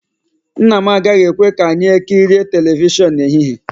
Nna m agaghị ekwe ka anyị ekirie telivishọn n'ehihie